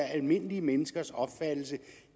almindelige menneskers opfattelse